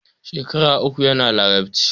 Shekaru uku yana Larabci.